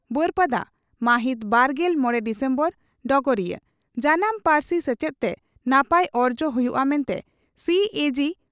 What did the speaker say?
ᱵᱟᱹᱨᱯᱟᱫᱟ ᱢᱟᱦᱤᱛ ᱵᱟᱨᱜᱮᱞ ᱢᱚᱲᱮ ᱰᱤᱥᱮᱢᱵᱚᱨ (ᱰᱚᱜᱚᱨᱤᱭᱟᱹ) ᱺ ᱡᱟᱱᱟᱢ ᱯᱟᱹᱨᱥᱤ ᱥᱮᱪᱮᱫ ᱛᱮ ᱱᱟᱯᱟᱭ ᱚᱨᱡᱚ ᱦᱩᱭᱩᱜᱼᱟ ᱢᱮᱱᱛᱮ ᱥᱤᱹᱮᱹᱡᱤᱹ